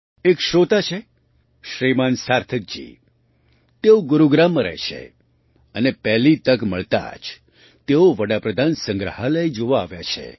એક શ્રોતા છે શ્રીમાન સાર્થકજી તેઓ ગુરુગ્રામ રહે છે અને પહેલી તક મળતા જ તેઓ પ્રધાનમંત્રીસંગ્રહાલય જોવા આવ્યા છે